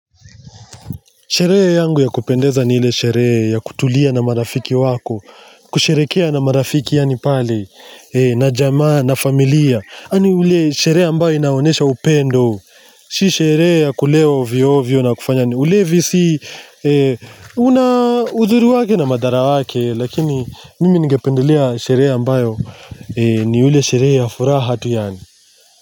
Sherehe yangu ya kupendeza ni ile sherehe, ya kutulia na marafiki wako, kusherehekea na marafiki yaani pale, na jamaa, na familia, yaani ule sherehe ambayo inaonyesha upendo. Si sherehe ya kulewa ovyo ovyo na kufanya ni ulevi si, una uzuri wake na madharau wake, lakini mimi ningependelea sherehe ambayo ni ule sherehe ya furaha tu yaani.